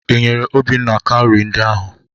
Ị nyere Obinna kaụrị ndị ahụ?